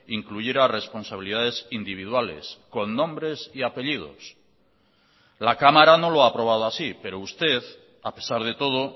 incluyera responsabilidades individuales con nombres y apellidos la cámara no lo ha aprobado así pero usted a pesar de todo